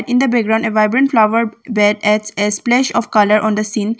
In the background a vibrant flower that adds a splash of colour on the seen.